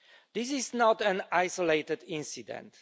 This is not an isolated incident.